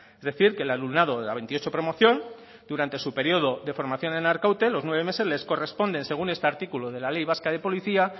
es decir que el alumnado de la veintiocho promoción durante su periodo de formación en arkaute los nueve meses les corresponden según este artículo de la ley vasca de policía